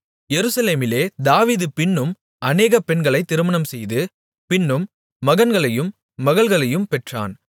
எருசலேமிலே தாவீது பின்னும் அநேக பெண்களைத் திருமணம்செய்து பின்னும் மகன்களையும் மகள்களையும் பெற்றான்